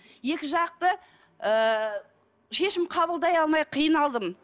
екі жақты ыыы шешім қабылдай алмай қиналдым